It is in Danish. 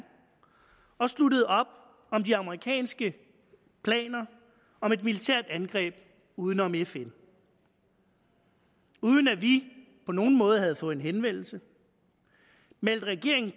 og sluttede op om de amerikanske planer om et militært angreb uden om fn uden at vi på nogen måde havde fået en henvendelse meldte regeringen